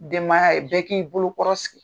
Denbaya ye bɛɛ k'i bolo kɔrɔsig